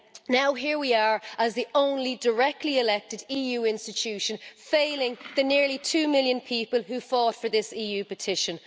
Now here we are, as the only directly elected EU institution, failing the nearly two million people who fought for this EU petition.